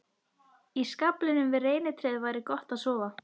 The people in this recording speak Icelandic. Í skaflinum við reynitréð væri gott að sofa.